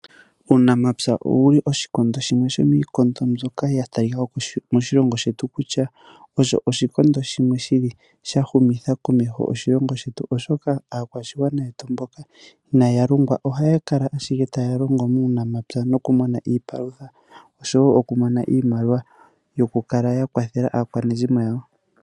Uunamapya owuli oshikondo shimwe shomiikondo mbyoka ya talika ko moshilongo shetu kutya osho oshikondo shimwe shili sha humitha komeho oshilongo shetu, oshoka aakwashigwana yetu mboka inaa ya longwa ohaya kala ashike taya longo muunamapya noku mona iipalutha oshowo oku mona iimaliwa yoku kala ya kwathela aakwanezimo yawo.